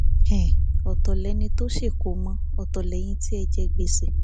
um ọtọ lẹni tó ṣèkómọ ọtọ lẹyìn tí ẹ jẹ gbèsè